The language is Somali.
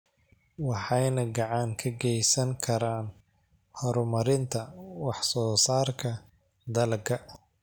waxayna gacan ka geysan karaan horumarinta wax soo saarka dalagga.